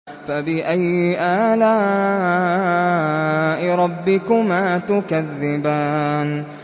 فَبِأَيِّ آلَاءِ رَبِّكُمَا تُكَذِّبَانِ